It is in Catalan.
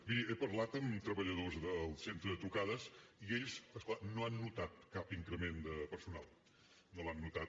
miri he parlat amb treballadors del centre de trucades i ells no han notat cap increment de personal no l’han notat